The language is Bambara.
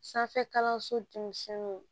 Sanfɛ kalanso